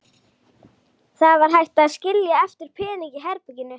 Það var hægt að skilja eftir peninga í herberginu.